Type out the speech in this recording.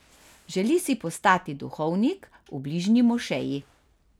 Želi si postati duhovnik v bližnji mošeji.